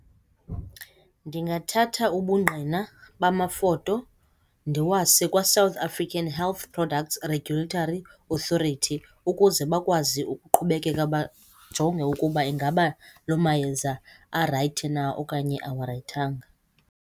Ndingathatha ubungqina bamafoto ndiwase kwaSouth African Health Product Regulatory Authority ukuze bakwazi ukuqhubekeka bajonge ukuba ingaba loo mayeza arayithi na okanye awarayithanga.